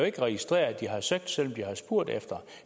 ikke registreret at de har søgt selv om de har spurgt efter